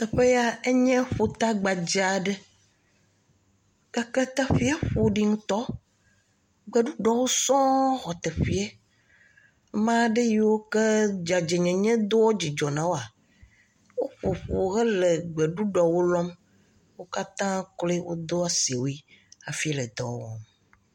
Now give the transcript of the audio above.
Teƒe ya enye ƒuta gbadza aɖe, teƒee ƒoɖi ŋutɔ, gbeɖuɖɔwo sɔŋ xɔ teƒee, amea ɖe yiwo ke dzadzenyenye doa dzidzɔ na woa, woƒoƒu hele gbeɖuɖuɔwo. Wo katã kloe wodo asiwui hafi le dɔ wɔm.